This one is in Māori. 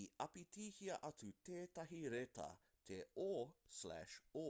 i āpitihia atu tētahi reta te ō/ō